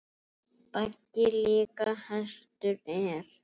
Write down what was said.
Baggi líka hestur er.